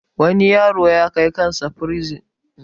wani yaro Kai kansa bursin